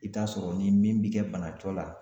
I bɛ t'a sɔrɔ ni min bɛ kɛ bana jɔ la.